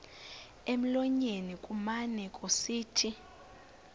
emlonyeni kumane kusithi